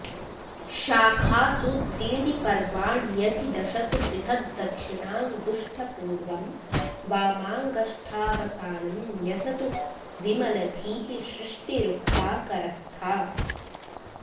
शाखासु त्रीणि पर्वाण्यधि दशसु पृथग्दक्षिणाङ्गुष्ठपूर्वं वामाङ्गष्ठावसानं न्यसतु विमलधीः सृष्टिरुक्ता करस्था